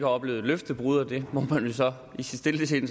oplevet løftebrud og det må man jo så i sit stille sind